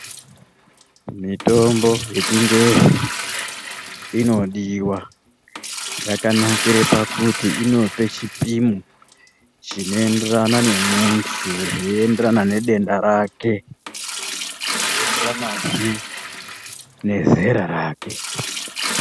Mithombo yechingezi inodiwa, yakanakire pakuti inope chipimo chinoenderana nemunthu zveienderana nedenda rake zveienderanazve nezera rake.